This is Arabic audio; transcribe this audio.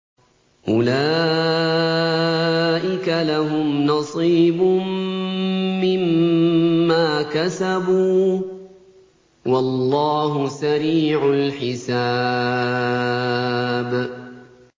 أُولَٰئِكَ لَهُمْ نَصِيبٌ مِّمَّا كَسَبُوا ۚ وَاللَّهُ سَرِيعُ الْحِسَابِ